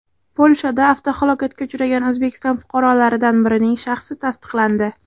Polshada avtohalokatga uchragan O‘zbekiston fuqarolaridan birining shaxsi tasdiqlandi.